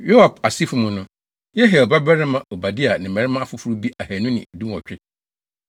Yoab asefo mu no: Yehiel babarima Obadia ne mmarima afoforo bi ahannu ne dunwɔtwe.